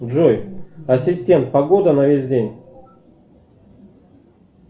джой ассистент погода на весь день